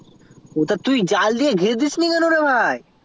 ও তা তুই জাল দিয়ে ঘিরে দিসনি ভাই